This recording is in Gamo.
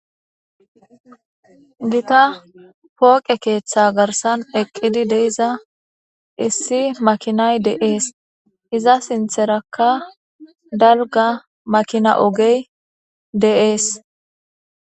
Gita pooqe keeththa garsan eqqidi deiza issi makinay de7ees iza sintherakka dalga makina ogey de'ees.